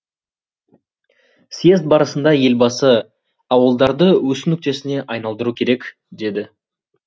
съезд барысында елбасы ауылдарды өсу нүктесіне айналдыру керек деді